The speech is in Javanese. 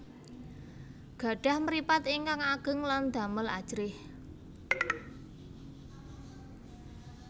Gadhah mripat ingkang ageng lan damel ajrih